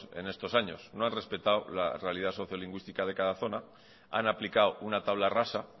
en estos años no han respetado la realidad socio lingüística de cada zona han aplicado una tabla rasa